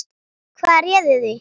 Hvað réði því?